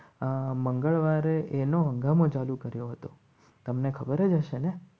આ મંગળવારે એનો ચાલુ કર્યો હતો. તમને ખબર જ હશે ને